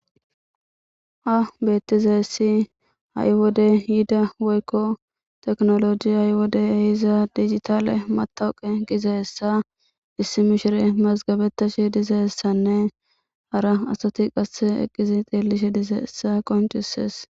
Ha beettize essi a7i wode yida woykko teknoloji a7y wode iza dijitale matawuqe giza hessa issi mishire mazgabetashi dizaessanne hara asati qasse eqqizi xillishe diza essa qoncisees.